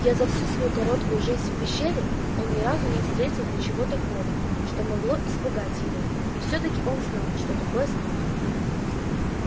за всю свою короткую жизнь в пещере он ни разу не встретил ничего такого что могло испугать его и все таки он знал что такое страх